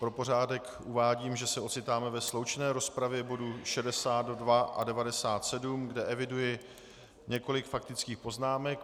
Pro pořádek uvádím, že se ocitáme ve sloučené rozpravě bodů 62 a 97, kde eviduji několik faktických poznámek.